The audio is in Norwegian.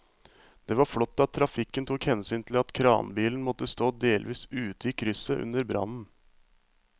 Det var flott at trafikken tok hensyn til at kranbilen måtte stå delvis ute i krysset under brannen.